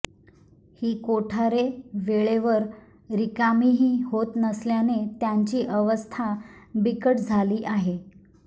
ही कोठारे वेळेवर रिकामीही होत नसल्याने त्यांची अवस्था बिकट झाली आहे